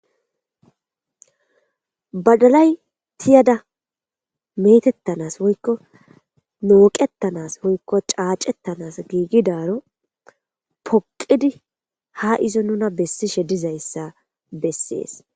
badalay tiyada metettanas woykko nooqettanas woykko caacettanas giigidaaro poqidi ha izo nuna bessishe dizayssa bessees